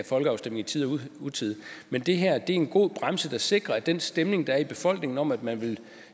folkeafstemning i tide og utide men det her er en god bremse der sikrer at den stemning der er i befolkningen om at man